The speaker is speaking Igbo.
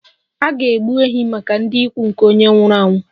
A ga-egbu ehi maka ndị ikwu nke onye nwụrụ anwụ